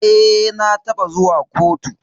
Eh, na taba zuwa kotu.